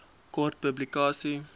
kort publikasie